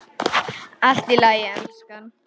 Allt í lagi, elskan.